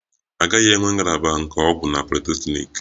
A gaghị enwe ngalaba nke ọgwụ na politeknik